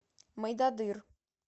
мойдодыр